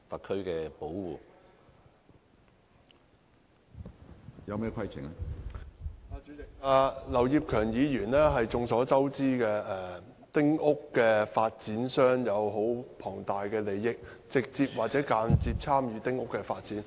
主席，眾所周知，劉業強議員是丁屋發展商，涉及十分龐大的利益，並且直接或間接參與丁屋發展。